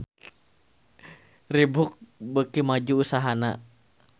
Reebook beuki maju usahana